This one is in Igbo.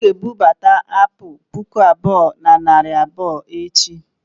ọ ga-ebubata apụl puku abụọ na narị abụọ echi